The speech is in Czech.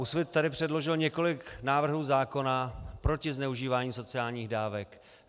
Úsvit tady předložil několik návrhů zákona proti zneužívání sociálních dávek.